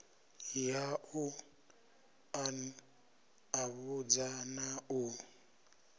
ya u ṱanḓavhudza na u